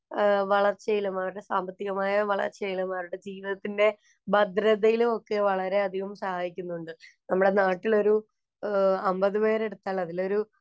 വളര്‍ച്ചയിലും, അവരുടെ സാമ്പത്തികമായ വളര്‍ച്ചയിലും, അവരുടെ ജീവിതത്തിന്‍റെ ഭദ്രതയിലും ഒക്കെ വളരെയധികം സഹായിക്കുന്നുണ്ട്. നമ്മുടെ നാട്ടില്‍ ഒരു അമ്പത് പെരെടുത്താല്‍ അതിലൊരു